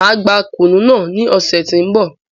Máa gbà kùnú náà ní ọ̀sẹ̀ ti n bọ̀